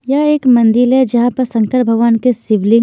यह एक मंदील है जहां पर शंकर भगवान के शिवलिंग--